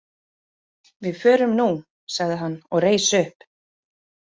Við förum nú, sagði hann og reis upp.